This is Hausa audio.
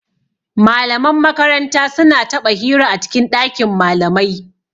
Malaman makaranta su na taɓa hira a cikin ɗakin malamai